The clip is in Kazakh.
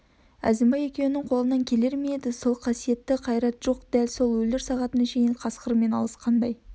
әзімбай екеуіңнің қолыңнан келер ме еді сол қасиетті қайрат жоқ дәл өлер сағатына шейін қасқырмен алысқандай